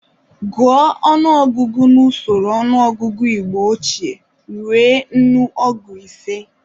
Guọ ọnụogụgu n'usoro ọnụọgụgụ Igbo ochie rue nnụ ọgu ise.